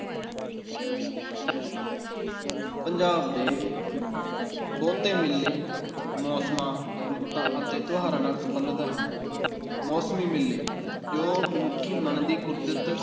ਪੰਜਾਬ ਦੇ ਬਹੁਤੇ ਮੇਲੇ ਮੌਸਮਾਂ, ਰੁੱਤਾਂ ਅਤੇ ਤਿਉਹਾਰਾਂ ਨਾਲ ਸੰਬੰਧਿਤ ਹਨ, ਮੌਸਮੀ ਮੇਲੇ, ਜੋ ਮਨੁੱਖੀ ਮਨ ਦੀ ਕੁਦਰਤ